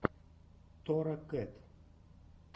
тора кэт